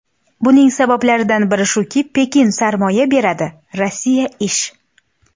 Buning sabablaridan biri shuki, Pekin sarmoya beradi, Rossiya ish.